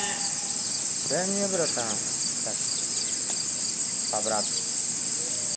дай мне братан так чисто по-братски